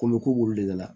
Kolo k'u w'olu de la